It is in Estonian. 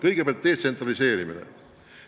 Kõigepealt detsentraliseerimine.